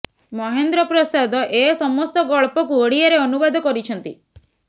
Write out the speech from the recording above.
ମହେନ୍ଦ୍ର ପ୍ରସାଦ ଏ ସମସ୍ତ ଗଳ୍ପକୁ ଓଡ଼ିଆରେ ଅନୁବାଦ କରିଛନ୍ତି